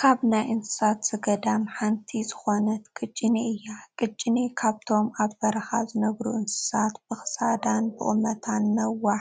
ካብ ናይ እንስሳ ዘገዳም ሓንቲ ዝኾነት ቅጭኔ እያ፡፡ ቅጭኔ ካብቶም ኣብ በረኻ ዝነብሩ እንስሳታት ብኽሳዳን ብቑመታን ነዋሕ